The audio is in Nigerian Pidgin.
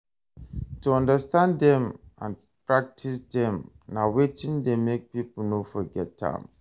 To understand dem and practice dem na wetin de make pipo no forget am